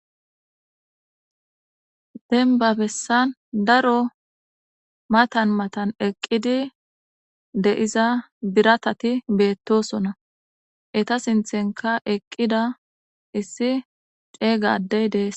Dembba bessan maatan mattan eqqida biratati dossona etta sinththanka eqqida issi ceegga adey des.